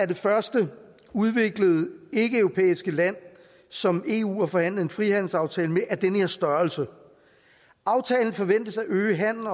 det første udviklede ikkeeuropæiske land som eu har forhandlet en frihandelsaftale med af den her størrelse aftalen forventes at øge handelen